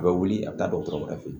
A bɛ wuli ka taa dɔgɔtɔrɔ yɛrɛ fɛ yen